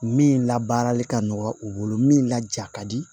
Min labaarali ka nɔgɔ u bolo min laja ka di